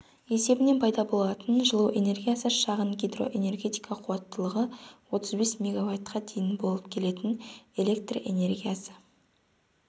есебінен пайда болатын жылу энергиясы шағын гидроэнергетика-қуаттылығы отыз бес мегаваттқа дейін болып келетін электр энергиясы